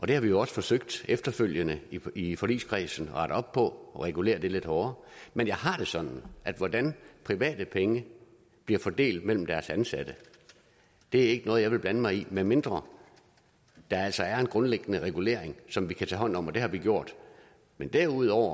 det har vi jo også forsøgt efterfølgende i forligskredsen at rette op på og regulere lidt hårdere men jeg har det sådan at hvordan private penge bliver fordelt mellem deres ansatte er ikke noget jeg vil blande mig i medmindre der altså er en grundliggende regulering som vi kan tage hånd om og det har vi gjort men derudover